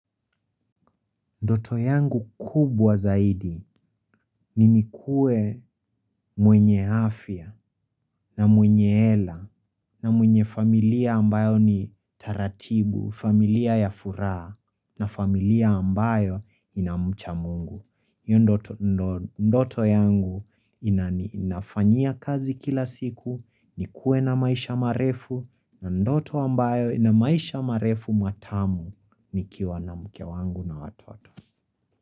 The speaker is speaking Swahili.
Ndoto yangu kubwa zaidi ni nikuwe mwenye afya na mwenye hela na mwenye familia ambayo ni taratibu, familia ya furaha na familia ambayo ina mcha mungu. Ndoto yangu nafanyia kazi kila siku, nikuwe na maisha marefu na ndoto ambayo na maisha marefu matamu nikiwa na mke wangu na watoto.